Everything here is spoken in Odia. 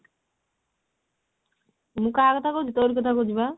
ମୁଁ କାହା କଥା କହୁଛି ତୋରି କଥା କହୁଛି ପା